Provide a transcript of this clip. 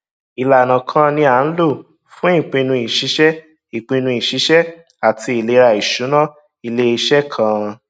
ìlànà kan ni a ń lò fún ìpinnu ìṣiṣẹ ìpinnu ìṣiṣẹ àti ìlera ìṣúná iléiṣẹ kan